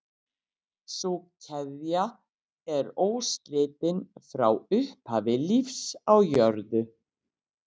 Sú keðja er óslitin frá upphafi lífs á jörðu.